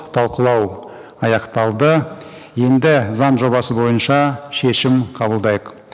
талқылау аяқталды енді заң жобасы бойынша шешім қабылдайық